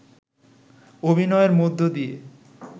অভিনয়ের মধ্য দিয়ে